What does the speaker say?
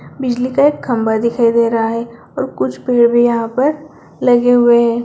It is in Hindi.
बिजली का एक खम्बा दिखाई दे रहा है और कुछ पेड़ भी यहाँ पर लगे हुए है।